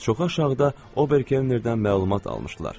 Çoxu aşağıda Obernerdən məlumat almışdılar.